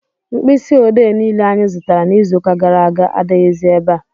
Mkpisi odee niile anyị zụtara n'iziuka gara aga adighizi ebea.